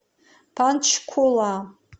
панчкула